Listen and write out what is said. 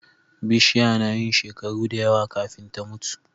Bishiya nayin shekaru dayawa kafin ta mutu